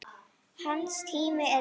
Hans tími er liðinn.